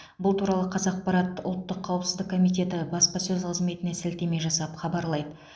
бұл туралы қазақпарат ұлттық қауіпсіздік комитеті баспасөз қызметіне сілтеме жасап хабарлайды